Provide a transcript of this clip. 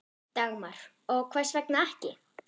Dagmar: Og hvers vegna ekki?